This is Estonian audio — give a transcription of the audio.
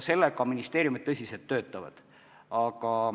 Selle kallal ministeeriumid tõsiselt töötavad.